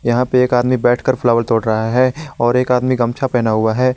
यहां पर एक आदमी बैठकर फ्लावर तोड़ रहा है और एक आदमी गमछा पहना हुआ है।